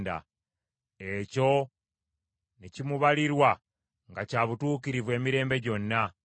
Ekyo ne kimubalirwa nga kya butuukirivu emirembe gyonna.